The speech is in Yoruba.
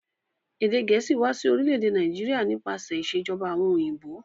Èdè gẹ̀ẹ̀síì wa si orílẹ̀dè Naijiria nípasẹ̀ ìsèjoba àwon òyìnbó